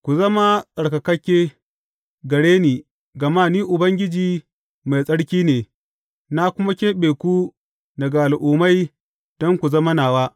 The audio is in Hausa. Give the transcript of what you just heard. Ku zama tsarkakakke gare ni, gama Ni Ubangiji, mai tsarki ne, na kuma keɓe ku daga al’ummai don ku zama nawa.